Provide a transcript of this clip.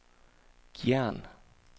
Gjern